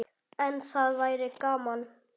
En það væri gaman.